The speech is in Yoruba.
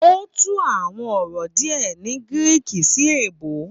Ó tún àwọn ọ̀rọ̀ díè ní gíríkì sí èbó